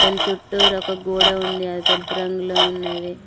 ఇక్కడ చుట్టూరా ఒక గోడ ఉంది అది తెలుపు రంగు ఉన్నది.